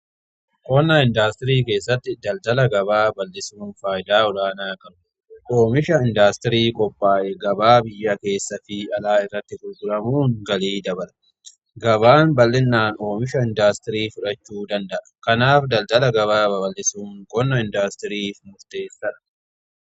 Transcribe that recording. Qonna indaastirii keessatti daldala gabaa bal'isuun faayidaa olaanaa qaba. Oomisha indaastirii qophaa'e gabaa biyya keessa fi alaa irratti gurguramuun galii dabala. Gabaan bal'inaan oomisha indaastirii fudhachuu danda'a. Kanaaf daldala gabaa babal'isuun qonna indaastiriif murteessadha.